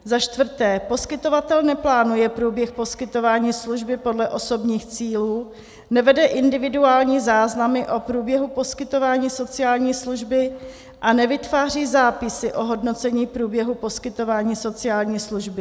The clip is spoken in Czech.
Za čtvrté, poskytovatel neplánuje průběh poskytování služby podle osobních cílů, nevede individuální záznamy o průběhu poskytování sociální služby a nevytváří zápisy o hodnocení průběhu poskytování sociální služby.